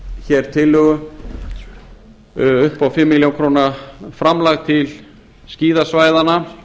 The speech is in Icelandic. tillögu upp á fimm milljónir króna framlag til skíðasvæðanna